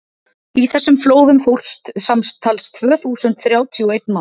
í þessum flóðum fórst samtals tvö hundruð þrjátíu og einn maður